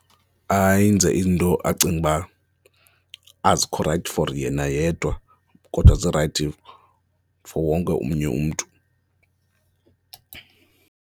Ayenze iinto acinga ukuba azikho rayithi for yena yedwa kodwa zirayithi for wonke omnye umntu.